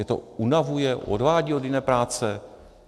Je to unavuje, odvádí od jiné práce?